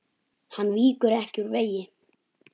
Hann víkur ekki úr vegi.